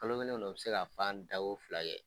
Kalo kelen kɔnɔ u bɛ se ka fan da ko fila kɛ.